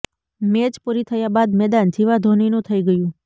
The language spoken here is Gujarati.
મેચ પૂરી થયા બાદ મેદાન ઝીવા ધોનીનું થઈ ગયું